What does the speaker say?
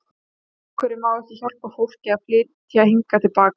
Af hverju má ekki hjálpa fólki að flytja hingað til baka?